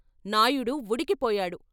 Naidu ఉడికిపోయాడు.